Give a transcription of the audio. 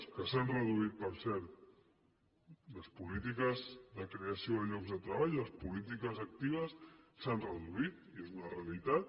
que s’han reduït per cert les polítiques de creació de llocs de treball les polítiques actives s’han reduït és una realitat